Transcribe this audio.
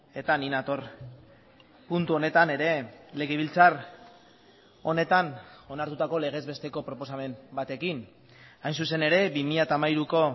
eta ni nator puntu honetan ere legebiltzar honetan onartutako legez besteko proposamen batekin hain zuzen ere bi mila hamairuko